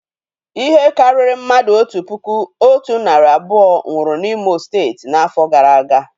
Ihe karịrị mmadụ otu puku otu narị abụọ nwụrụ na imo steeti n'afọ gara aga